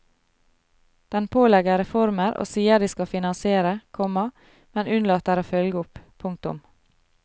Den pålegger reformer og sier de skal finansiere, komma men unnlater å følge opp. punktum